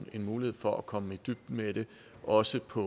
en mulighed for at komme i dybden med det også på